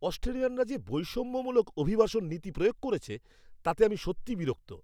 অস্ট্রেলিয়ানরা যে বৈষম্যমূলক অভিবাসন নীতি প্রয়োগ করছে তাতে আমি সত্যিই বিরক্ত।